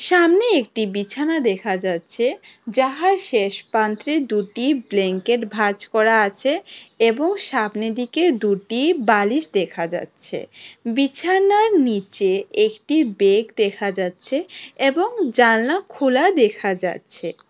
আমনে একটি বিছানা দেখা যাচ্ছে যাহার শেষ পান্ত্রে দুটি ব্লেংকেট ভাঁজ করা আছে এবং সামনেদিকে দুটি বালিশ দেখা যাচ্ছে বিছানার নীচে একটি বেগ দেখা যাচ্ছে এবং জানলা খোলা দেখা যাচ্ছে।